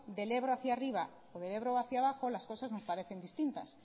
del ebro hacia arriba o del ebro hacia abajo las cosas nos parecen distintas